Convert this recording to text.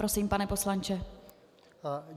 Prosím, pane poslanče.